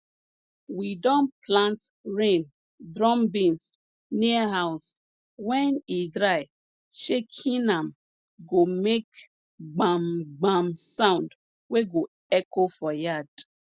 we don plant rain drum beans near house when e dry shaking am go make gbamgbam sound wey go echo for yard